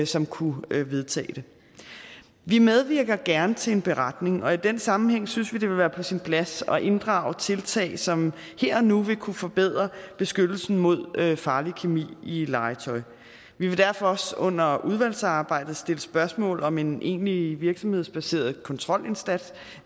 som kunne vedtage det vi medvirker gerne til en beretning og i den sammenhæng synes vi det ville være på sin plads at inddrage tiltag som her og nu ville kunne forbedre beskyttelsen mod farlig kemi i legetøj vi vil derfor også under udvalgsarbejdet stille spørgsmål om en egentlig virksomhedsbaseret kontrolindsats